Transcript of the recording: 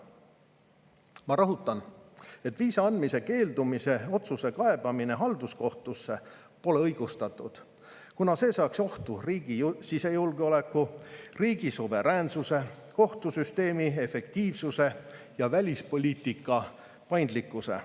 Ma rõhutan, et viisa andmise keeldumise otsuse kaebamine halduskohtusse pole õigustatud, kuna see seaks ohtu riigi sisejulgeoleku, riigi suveräänsuse, kohtusüsteemi efektiivsuse ja välispoliitika paindlikkuse.